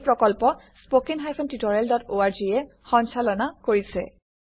এই প্ৰকল্প httpspoken tutorialorg এ কোঅৰ্ডিনেট কৰিছে